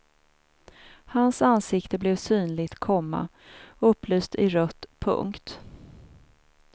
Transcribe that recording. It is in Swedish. Hans ansikte blev synligt, komma upplyst i rött. punkt